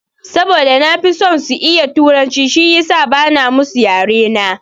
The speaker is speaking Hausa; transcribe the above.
Saboda na fi son su iya turanci shiyasa bana musu yare na.